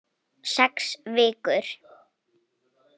Sex vikur.